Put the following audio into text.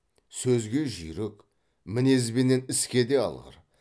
сөзге жүйрік мінезбенен іске де алғыр